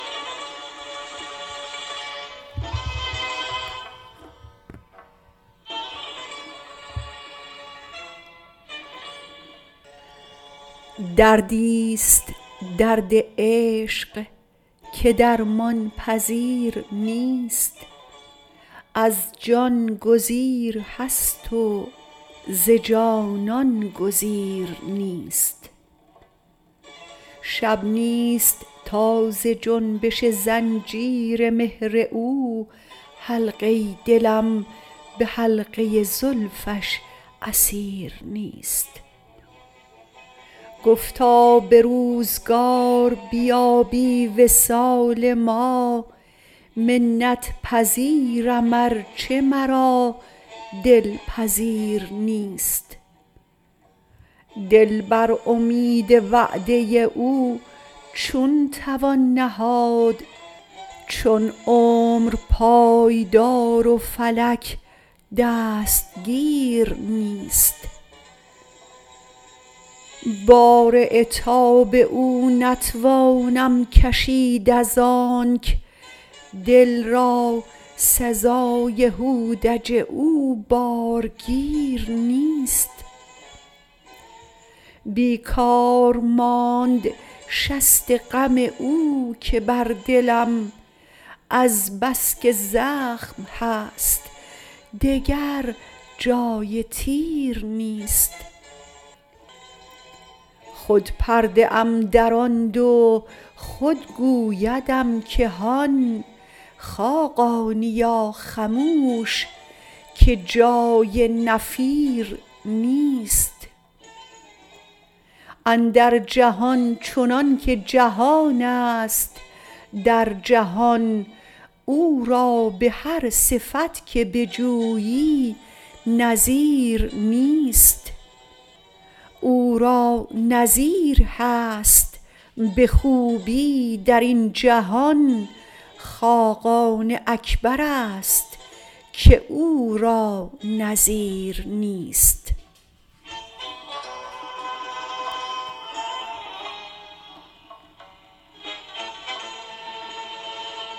دردی است درد عشق که درمان پذیر نیست از جان گزیر هست و ز جانان گزیر نیست شب نیست تا ز جنبش زنجیر مهر او حلقه ی دلم به حلقه زلفش اسیر نیست گفتا به روزگار بیابی وصال ما منت پذیرم ارچه مرا دل پذیر نیست دل بر امید وعده او چون توان نهاد چون عمر پایدار و فلک دستگیر نیست بار عتاب او نتوانم کشید از آنک دل را سزای هودج او بارگیر نیست بیکار ماند شست غم او که بر دلم از بس که زخم هست دگر جای تیر نیست خود پرده ام دراندم و خود گویدم که هان خاقانیا خموش که جای نفیر نیست اندر جهان چنان که جهان است در جهان او را به هر صفت که بجویی نظیر نیست او را نظیر هست به خوبی در این جهان خاقان اکبر است که او را نظیر نیست